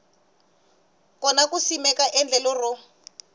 kona ku simeka endlelo ro